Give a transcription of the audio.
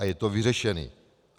A je to vyřešené.